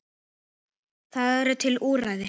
Það eru til úrræði.